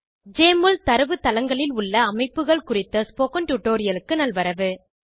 JMOL ல் தரவுத்தளங்களில் உள்ள அமைப்புகள் குறித்த ஸ்போகன் டுடோரியலுக்கு நல்வரவு